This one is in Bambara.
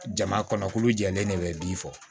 Jama kɔnɔ kulu jɛlen de bɛ bin fɔ